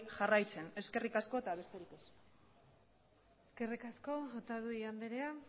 jarraitzen eskerrik asko eta besterik ez eskerrik asko otadui andrea